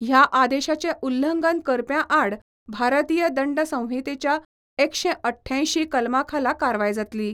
ह्या आदेशाचें उल्लंघन करप्यां आड भारतीय दंडसंहितेच्या एकशे अठ्ठ्यांयशीं कलमा खाला कारवाय जातली.